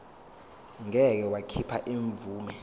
ngeke wakhipha imvume